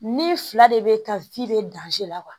Ni fila de bɛ ka bɛ la